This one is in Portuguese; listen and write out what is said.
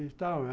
E tal.